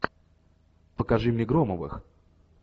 покажи мне громовых